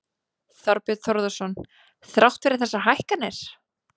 Þorbjörn Þórðarson: Þrátt fyrir þessar hækkanir?